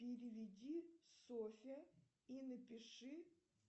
переведи софье и напиши